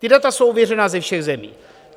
Ta data jsou ověřena ze všech zemí.